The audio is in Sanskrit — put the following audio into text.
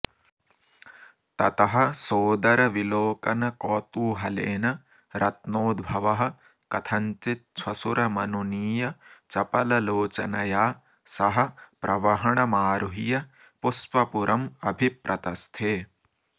ततः सोदरविलोकनकौतूहलेन रत्नोद्भवः कथञ्चिच्छ्वशुरमनुनीय चपललोचनया सह प्रवहणमारुह्य पुष्पपुरमभिप्रतस्थे